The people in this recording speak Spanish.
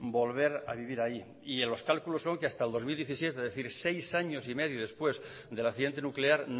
volver a vivir ahí y los cálculos son que hasta dos mil diecisiete es decir seis años y medio después del accidente nuclear